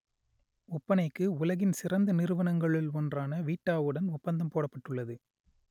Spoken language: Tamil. ஒப்பனைக்கு உலகின் சிறந்த நிறுவனங்களுள் ஒன்றான வீட்டாவுடன் ஒப்பந்தம் போடப்பட்டுள்ளது